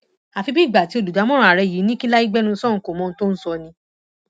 àfi bíi ìgbà tí olùdámọràn ààrẹ yìí ní kí lai gbẹnu sọhùnún kó mọ ohun tó ń sọ ni